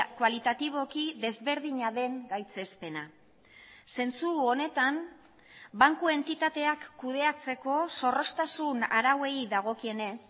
kualitatiboki desberdina den gaitzespena zentzu honetan banku entitateak kudeatzeko zorroztasun arauei dagokienez